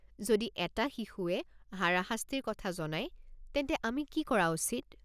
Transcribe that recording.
যদি এটা শিশুৱে হাৰাশাস্তিৰ কথা জনায় তেন্তে আমি কি কৰা উচিত?